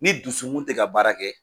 Ni dusukun tɛ ka baara kɛ